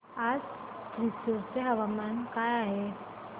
आज थ्रिसुर चे हवामान काय आहे